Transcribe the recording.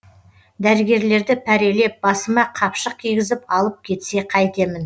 дәрігерлерді пәрелеп басыма қапшық кигізіп алып кетсе қайтемін